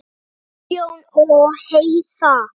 Guðjón og Heiða.